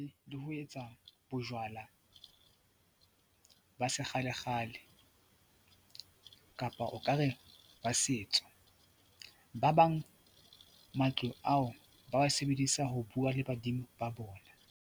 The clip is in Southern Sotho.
Le ho etsa bojwala ba sekgalekgale kapa o ka re ba setso, ba bang matlo ao ba wa sebedisa ho bua le badimo ba bona.